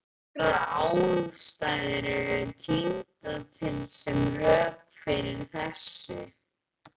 Nokkrar ástæður eru tíndar til sem rök fyrir þessu.